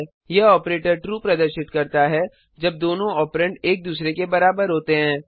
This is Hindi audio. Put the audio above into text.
यह ऑपरेटर ट्रू प्रदर्शित करता है जब दोनों ऑपरेंड एक दूसरे के बराबर होते हैं